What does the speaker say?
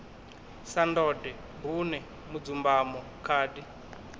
sa ndode bune mudzumbamo khadi